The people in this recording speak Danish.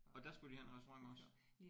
Og der skulle de have en restaurant også?